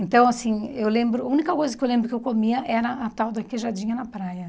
Então, assim, eu lembro... A única coisa que eu lembro que eu comia era a tal da queijadinha na praia.